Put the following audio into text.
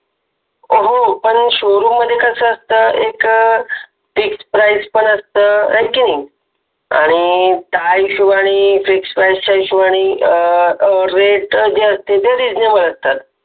हो पण showroom मधे कस असत fix price पण असता हैकिनी आणि त्या हिशोबानि fix price च्या हिशोबानि अ rate जे असते ते reasonable असतात